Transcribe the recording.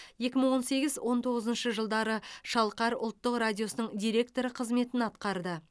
екі мың он сегіз он тоғызыншы жылдары шалқар ұлттық радиосының директоры қызметін атқарды